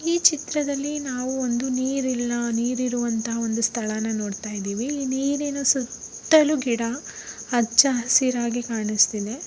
ಈ ಚಿತ್ರದಲ್ಲಿ ನಾವು ಒಂದು ನೀರಿನ ನೀರ್ರುವಂತಹ ಒಂದು ಸ್ಥಳನ ನೋಡ್ತಾ ಇದ್ದೀವಿ ನೀರಿನ ಸುತ್ತಲೂ ಗಿಡ ಹಚ್ಚು ಹಸಿರಾಗಿ ಕಾಣಿಸ್ತಾ ಇದೆ .